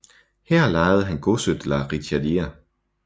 Her lejede han godset La Richardière